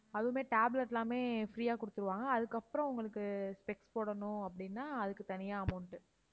அதுவுமே tablet எல்லாமே free ஆ கொடுத்துடுவாங்க. அதுக்கப்புறம் உங்களுக்கு specs போடணும் அப்படின்னா அதுக்கு தனியா amount உ